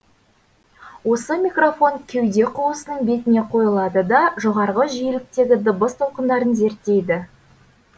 осы микрофон кеуде қуысының бетіне қойылады да жоғарғы жиеліктегі дыбыс толқындарын зерттейді